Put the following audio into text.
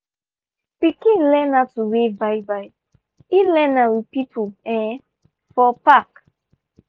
pikin learn how to wave bye-bye e learn m with people um for park